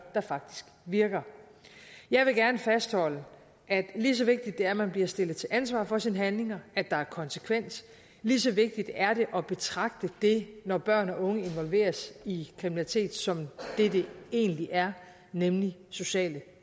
der faktisk virker jeg vil gerne fastholde at lige så vigtigt det er at man bliver stillet til ansvar for sine handlinger at der er konsekvens lige så vigtigt er det at betragte det når børn og unge involveres i kriminalitet som det det egentlig er nemlig sociale